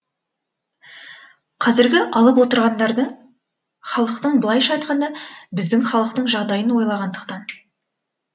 қазіргі алып отырғандары халықтың былайша айтқанда біздің халықтың жағдайын ойлағандықтан